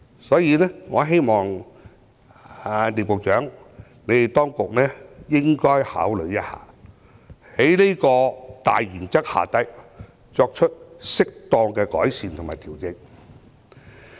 所以，我希望聶局長及當局應該考慮一下，在這個大原則之下，如何作出適當的改善和調整。